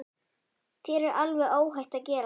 Þér er alveg óhætt að gera það!